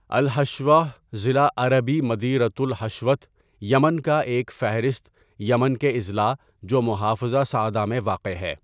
الحشوہ ضلع عربی مديرية الحشوة یمن کا ایک فہرست یمن کے اضلاع جو محافظہ صعدہ میں واقع ہے.